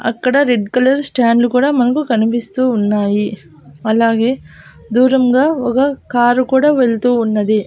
అక్కడ red colour స్టాండ్లు కూడా మనకు కనిపిస్తూ ఉన్నాయి అలాగే దూరంగా ఒక కారు కూడా వెళ్తూ ఉన్నది.